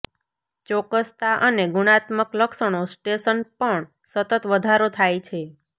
ચોક્કસતા અને ગુણાત્મક લક્ષણો સ્ટેશન પણ સતત વધારો થાય છે